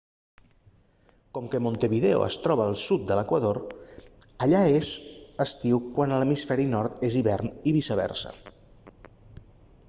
com que montevideo es troba al sud de l'equador allà és estiu quan a l'hemisferi nord és hivern i viceversa